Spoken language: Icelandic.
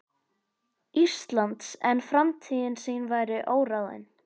Íslands, en framtíð sín væri óráðin.